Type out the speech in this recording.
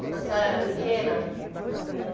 Quando a senhora era pequena?